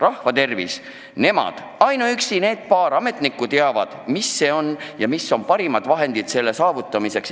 Rahva tervis – nemad, ainuüksi need paar ametnikku teavad, mis see on ja mis on parimad vahendid rahva hea tervise saavutamiseks.